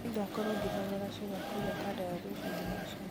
nĩngakorwo ngĩnogora ciĩga kũrĩa kandara rũciũ thinacara